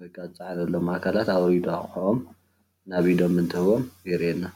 ወይከዓ ዝተፀዓኑሎም ኣካላት ማውሪዱ ኣቁሑኦም ናብ ኢዶም እንትህቦም የርእየና፡፡